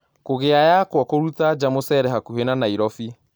Kugĩa yakwa kũrũta nja mũchere hakũhĩ na Nairobi